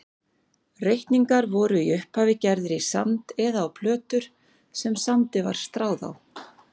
Reikningar voru í upphafi gerðir í sand eða á plötur sem sandi var stráð á.